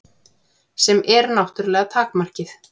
Sem er náttúrlega takmarkið.